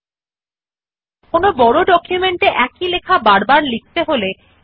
there are shortcut keys available for these options as well CTRLC to copy and CTRLV to paste